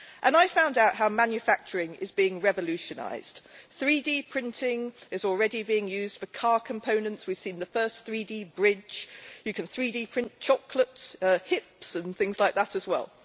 I found out how manufacturing is being revolutionised 3D printing is already being used for car components, we have seen the first 3D bridge, and you can 3D print chocolate hips and things like that as well.